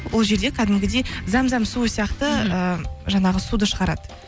ол жерде кәдімгідей зәм зәм суы сияқты ыыы жаңағы суды шығарады